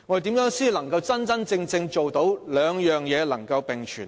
如何才能真正做到這兩點能並存呢？